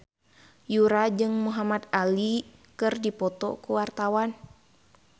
Yura jeung Muhamad Ali keur dipoto ku wartawan